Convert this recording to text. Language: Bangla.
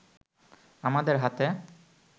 আমাদের হাতে